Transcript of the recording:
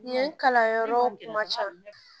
Ɲɛ kalanyɔrɔ caman